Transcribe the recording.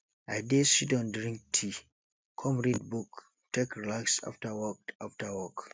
i dey sidon drink tea kom read book take relax after work after work